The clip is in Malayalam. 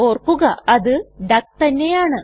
ഓർക്കുക അത് ഡക്ക് തന്നെയാണ്